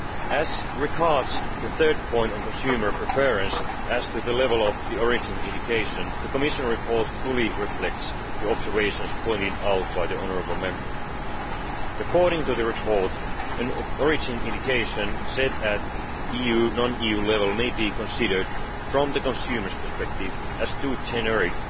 As regards the third point on consumer preference, as to the level of the origin indication the Commission report fully reflects the observations pointed out by the honourable Member. According to the report, an origin indication set at EU non EU level may be considered from the consumer's perspective as too generic